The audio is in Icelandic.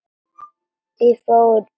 Ég fór úr henni áðan.